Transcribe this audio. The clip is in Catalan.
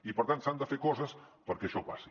i per tant s’han de fer coses perquè això passi